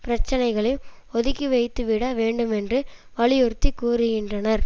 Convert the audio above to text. பிரச்சனைகளையும் ஒதுக்கிவைத்துவிட வேண்டுமென்று வலியுறுத்தி கூறுகின்றனர்